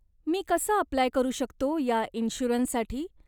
मी कसं अप्लाय करू शकतो या इंश्युरंससाठी?